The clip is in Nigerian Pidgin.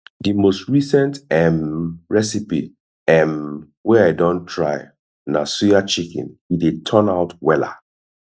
di most recent um recipe um wey i don try na suya chicken e dey turn out wella